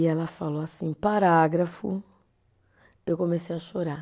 E ela falou assim, parágrafo, eu comecei a chorar.